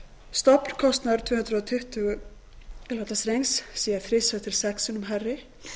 stofnkostnaður tvö hundruð tuttugu kv strengs sé þrisvar til sex sinnum hærri